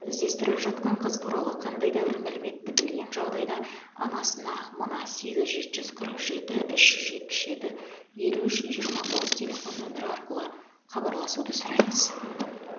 іздестіріліп жатқан қыз туралы қандайда бір мәліметті білген жағдайда анасына мына сегіз жеті жүз қырық жеті үш жүз жетпіс жеті елу үш жиырма тоғыз телефон нөмері арқылы хабарласуды сұраймыз